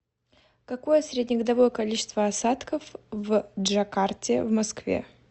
какое среднегодовое количество осадков в джакарте в москве